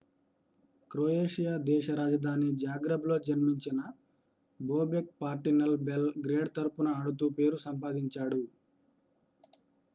Croatia దేశ రాజధాని జాగ్రెబ్లో జన్మించిన బోబెక్ పార్టిజన్ బెల్ గ్రేడ్ తరఫున ఆడుతూ పేరు సంపాదించాడు